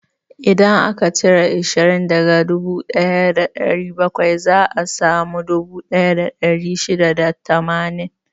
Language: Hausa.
Idan aka cire ashirin daga dubu ɗaya da ɗari bakwai, za a samu dubu ɗaya da ɗari shida da tamanin.